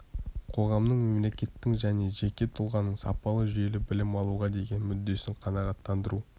қоғамның мемлекеттің және жеке тұлғаның сапалы жүйелі білім алуға деген мүддесін қанағаттандыру